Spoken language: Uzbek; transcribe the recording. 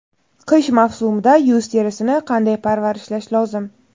Qish mavsumida yuz terisini qanday parvarishlash lozim?.